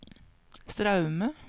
Straume